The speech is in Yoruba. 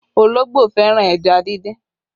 Ológbò fẹ́ràn ẹja dindin